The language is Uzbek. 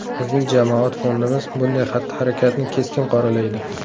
Bizning jamoat fondimiz bunday xatti-harakatni keskin qoralaydi.